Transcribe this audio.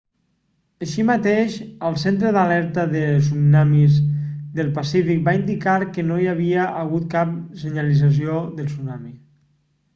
així mateix el centre d'alerta de tsunamis del pacífic va indicar que no hi havia hagut cap senyalització de tsunami